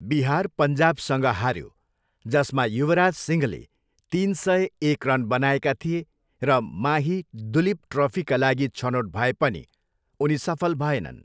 बिहार पन्जाबसँग हाऱ्यो जसमा युवराज सिंहले तिन सय एक रन बनाएका थिए र माही दुलीप ट्रफीका लागि छनोट भए पनि उनी सफल भएनन्।